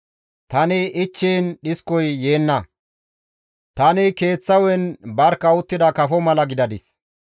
Tani ichchiin dhiskoy yeenna; tani keeththa hu7en barkka uttida kafo mala gidadis.